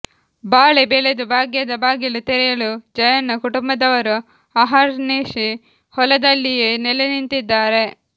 ಬಾಳೆ ಬೆಳೆದು ಭಾಗ್ಯದ ಬಾಗಿಲು ತೆರೆಯಲು ಜಯಣ್ಣ ಕುಟುಂಬದವರು ಅಹರ್ನಿಶಿ ಹೊಲದಲ್ಲಿಯೇ ನೆಲೆನಿಂತಿದ್ದಾರೆ